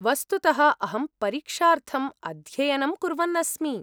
वस्तुतः अहं परीक्षार्थम् अध्ययनं कुर्वन् अस्मि।